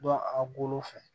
Dɔ a bolo fɛ